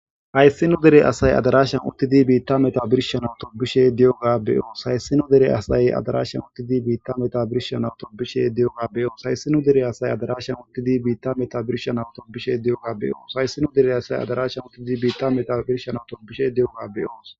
Hayssinu dere asay adarashan uttidi biitta meta birshan awto bishe diyoga beyoos hayssinu dere asay adarashan uttidi biitta meta birshan awto bishe diyoga beyoos hayssinu dere asay adarashan uttidi biitta meta birshan awto bishe diyoga beyoos hayssinu dere asay adarashan uttidi biitta meta birshan awto bishe diyoga beyoos.